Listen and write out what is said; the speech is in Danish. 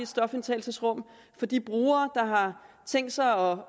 stofindtagelsesrum for de brugere der har tænkt sig